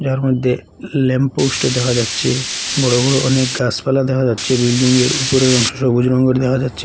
এর মধ্যে lamp post দেখা যাচ্ছে বড় বড় অনেক গাসপালা দেখা যাচ্ছে বিল্ডিং য়ের উপরের অংশ সবুজ রংয়ের দেখা যাচ্ছে।